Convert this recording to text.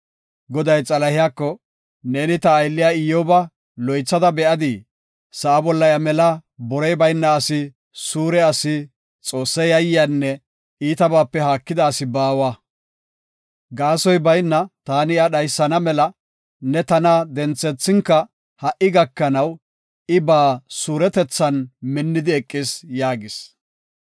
Goday Xalahiyako, “Neeni ta aylliya Iyyoba loythada be7adii? Sa7a bolla iya mela borey bayna asi, suure asi, Xoosse yayyiyanne iitabaape haakida asi baawa. Gaasoy bayna taani iya dhaysana mela ne tana denthethinka ha77i gakanaw I ba suuretethan minnidi eqis” yaagis.